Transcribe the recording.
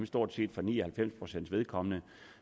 stort set ni og halvfems pcts vedkommende